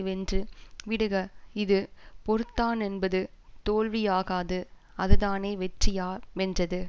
வென்று விடுக இது பொறுத்தானென்பது தோல்வியாகாது அதுதானே வெற்றியாமென்றது